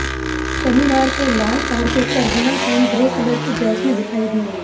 शनिवार को लाल कार्पेट पर हिना खान ग्रे कलर की ड्रेस में दिखाई दीं